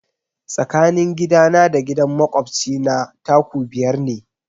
Tsakanin gidana da gidan makwabci na 'taku' biyar ne.